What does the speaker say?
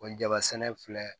O jaba sɛnɛ filɛ